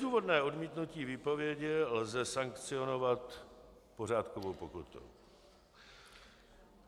Bezdůvodné odmítnutí výpovědi lze sankcionovat pořádkovou pokutou.